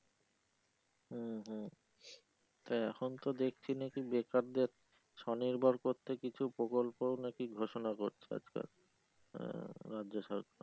হু হু তা এখন তো দেখছি না যে বেকারদের স্বনির্ভর করতে কিছু প্রকল্পও নাকি ঘোষনা করছে সরকার আহ রাজ্য সরকার।